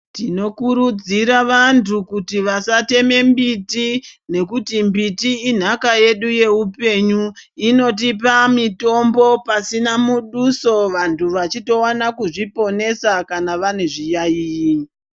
Tinokurudzira vantu kuti vasatema mbiti nekuti mbiti inhaka yedu yeupenyu. Inotipa mitombo pasina muduso vantu vachitowana kuzviponesa kana vane zviyaiyi.